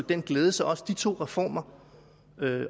den glæde så også de to reformer